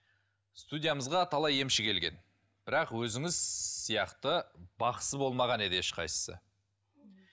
студиямызға талай емші келген бірақ өзіңіз сияқты бақсы болмаған еді ешқайсысы